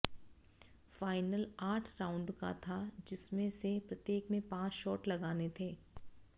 final आठ round का था जिसमें से प्रत्येक में पांच शाट लगाने थे